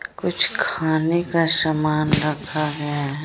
कुछ खाने का समान रखा गया है।